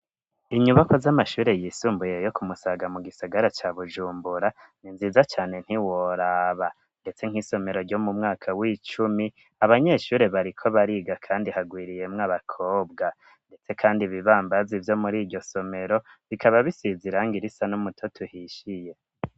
Inyubakwa z'amashure yisumbuye yo ku musaga mu gisigara ca bujumbura ni nziza cyne ntiworaba ndetse nk'isomero ryo mu mwaka w'icumi abanyeshure bariko bariga kandi hagwiriyemwe abakobwa ndetse kandi ibibambazi byo muri iryo somero bikaba bisize irangi irisa n'umutoto tuhishiye.